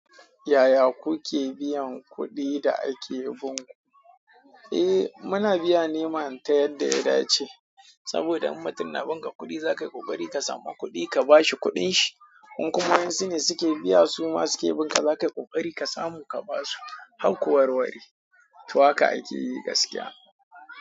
Yaya kuke biyan kuɗin da ake binku? Eh, muna biya ne mana ta yadda ya dace saboda in mutum na binga kuɗi za ka yi ƙoƙari ka samu kuɗi ka ba shi kuɗin shi. In kuma wadansu ne suke biya su ma suke binka za ka yi ƙoƙari ka samu ka ba su. Harku warware, to haka ake yi gaskiya.